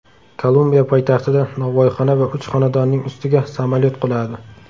Kolumbiya poytaxtida novvoyxona va uch xonadonning ustiga samolyot quladi.